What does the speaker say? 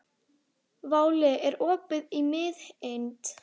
Váli, er opið í Miðeind?